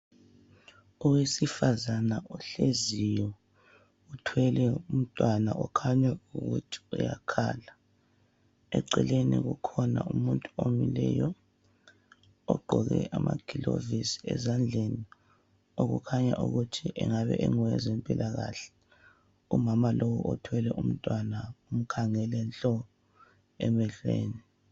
Owesifazana ohleziyo uthwele umntwana okhanya ukuthi uyakhala. Eceleni kukhona umuntu omileyo ogqoke amagilovisi ezandleni okukhanya ukuthi engabe engowezempilakahle. Umama lowu othwele umntwana umkhangele nhlo emehlweni.